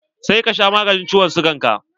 Sai ka sha maganin ciwon sigan ga!